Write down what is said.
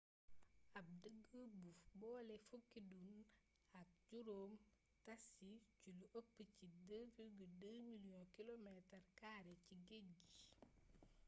ab dég bu bolé fukki dun ak juróom tas ci lu ëpp ci 2,2 mliiyongu kiloometar kaare ci géej gi